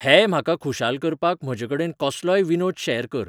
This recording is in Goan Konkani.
हेय म्हाका खुशाल करपाक म्हजेकडेन कसलोय विनोद शॅर कर